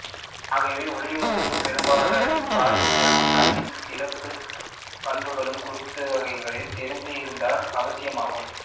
ஆகவே ஒளிர்வுப் பொறியமைப்பாளரின் பார்வைத்திறனும் கண்ணின் சிறப்புப் பண்புகளும் குறித்தவகைளை தெரிந்து இருத்தல் அவசியமாகும்